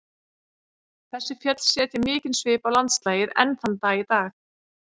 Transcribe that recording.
Þessi fjöll setja mikinn svip á landslagið enn þann dag í dag.